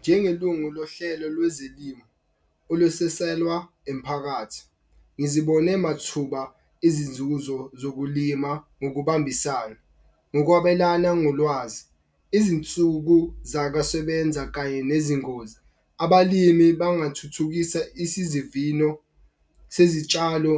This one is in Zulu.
Njengelungu lohlelo lwezelimu olusiselwa emiphakathi. Ngizibone mathuba izinzuzo zokulima ngokubambisana, ngokwabelana ngolwazi izinsuku zakwa sebenza kanye nezingozi. Abalimi bangathuthukisa sezitshalo